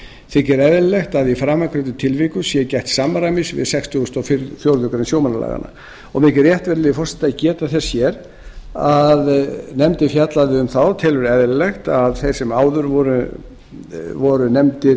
þykir eðlilegt að í framangreindum tilvikum sé gætt samræmis við sextugustu og fjórðu greinar sjómannalaga mér þykir rétt virðulegi forseti að geta þess hér að nefndin fjallaði um það og telur eðlilegt að þeir sem áður voru